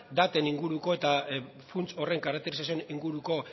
daten inguruko eta funts horren karakterizazioen inguruko